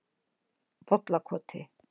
Bollakoti